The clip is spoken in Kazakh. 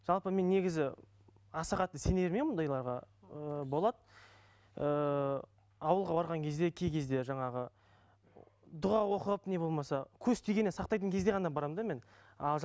жалпы мен негізі аса қатты сене бермеймін ондайларға ыыы болады ыыы ауылға барған кезде кей кезде жаңағы дұға оқып не болмаса көз тигеннен сақтайтын кезде ғана барамын да мен ал